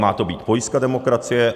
Má to být pojistka demokracie.